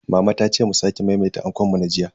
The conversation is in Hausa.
Mama ta ce mu sake maimaita ankon mu na jiya.